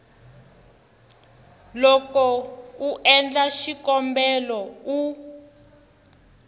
loko u endla xikombelo u